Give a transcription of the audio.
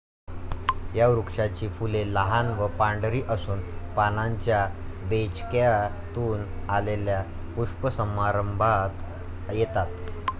या वृक्षाची फुले लहान व पांढरी असून पानांच्या बेचक्यातून आलेल्या पुष्पसंभारात येतात.